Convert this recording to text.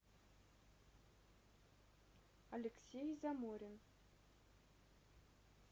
алексей заморин